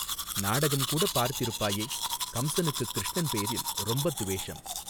நாடகம்கூடப் பார்த்திருப்பாயே கம்ஸனுக்குக் கிருஷ்ணன் பேரில் ரொம்பத் துவேஷம்.